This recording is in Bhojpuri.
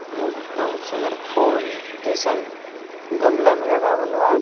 अ बहुत सुंदर फुल जइसन गमला में लगावल बा।